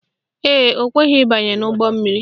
Ee, o kweghi ịbanye n' ụgbọmmiri